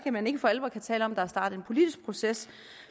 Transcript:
man ikke for alvor kan tale om at der er startet en politisk proces